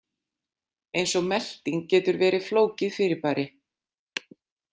Eins og melting getur verið flókið fyrirbæri.